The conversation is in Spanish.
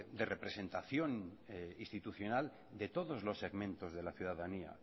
de representación institucional de todos los segmentos de la ciudadanía